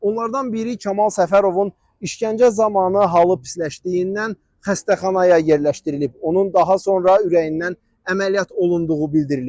Onlardan biri Kamal Səfərovun işgəncə zamanı halı pisləşdiyindən xəstəxanaya yerləşdirilib, onun daha sonra ürəyindən əməliyyat olunduğu bildirilib.